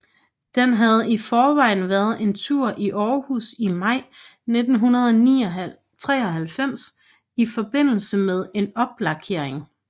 Den havde i forvejen været en tur i Aarhus i maj 1993 i forbindelse med en oplakering